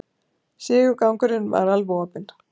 Stigagangurinn var alveg opinn